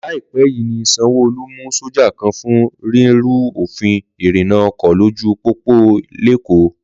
Lọ́ọ́lọ́ọ́ yìí ni Sanwó Olú mú sọ́jà kan fún rírú òfin ìrìnna ọkọ̀ lójú pópó lÉkòó.